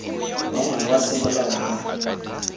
wa ngwana wa semolao ba